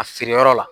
A feere yɔrɔ la